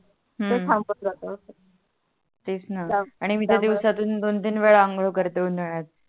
तेच णा आणि त्या त्यामुळे आणि मी तर दिवसातून दोन तीन वेळा अंगोळ करतो उनाड्यात